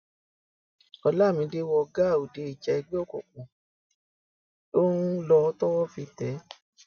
olamide wọ gàá òde ìjà ẹgbẹ òkùnkùn ló ń lò tọwọ fi tẹ ẹ